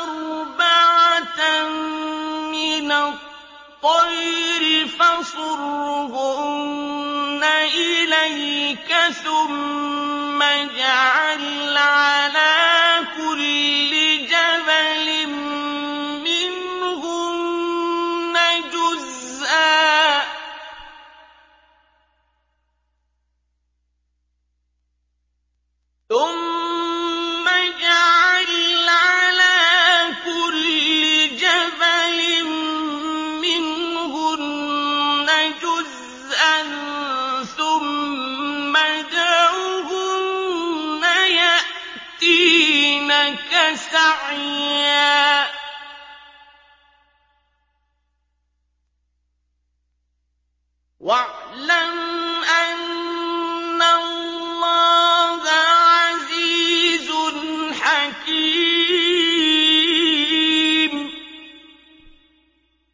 أَرْبَعَةً مِّنَ الطَّيْرِ فَصُرْهُنَّ إِلَيْكَ ثُمَّ اجْعَلْ عَلَىٰ كُلِّ جَبَلٍ مِّنْهُنَّ جُزْءًا ثُمَّ ادْعُهُنَّ يَأْتِينَكَ سَعْيًا ۚ وَاعْلَمْ أَنَّ اللَّهَ عَزِيزٌ حَكِيمٌ